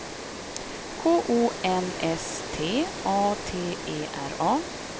K O N S T A T E R A